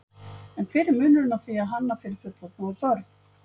En hver er munurinn á því að hanna fyrir fullorðna og börn?